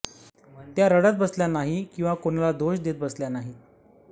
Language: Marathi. त्या रडत बसल्या नाही कि कोणाला दोष देत बसल्या नाही